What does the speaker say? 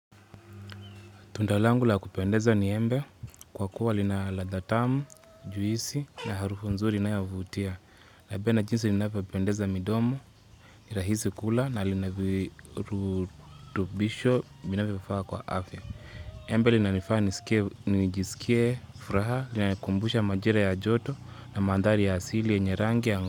Tunda langu la kupendeza ni embe kwa kuwa lina ladha tamu, juisi na harufu nzuri inayovutia. Napedna jinsi linavyopendeza midomo, nirahisi kula na lina virutubisho, vinavyo kwa afya. Embe lina nifaa nijisikie furaha, lina kumbusha majira ya joto na mandhari ya asili ya rangi ya nga.